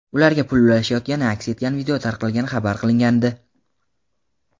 ularga pul ulashayotgani aks etgan video tarqalgani xabar qilingandi.